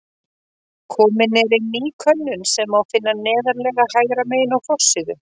Komin er inn ný könnun sem má finna neðarlega hægra megin á forsíðu.